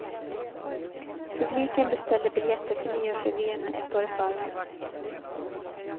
Publiken beställde biljetter till nyårsrevyerna ett år i förväg.